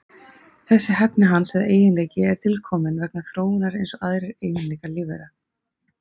Þessi hæfni hans eða eiginleiki er til kominn vegna þróunar eins og aðrir eiginleikar lífvera.